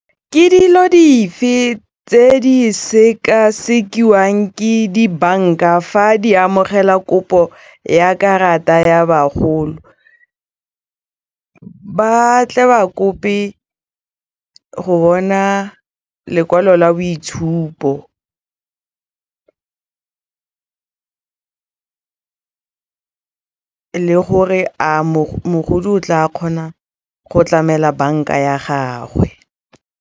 Ke dilo dife tse di sekasekiwang ke dibanka fa di amogela kopo ya karata ya bagolo ba tle ba kope go bona lekwalo la boitshupo le gore a mogolo o tla kgona go tlamela banka ya gagwe.